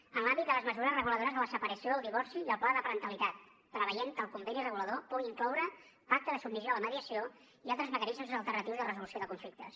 en l’àmbit de les mesures reguladores de la separació el divorci i el pla de parentalitat preveure que el conveni regulador pugui incloure un pacte de submissió de la mediació i altres mecanismes alternatius de resolució de conflictes